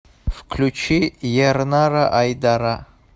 включи ернара айдара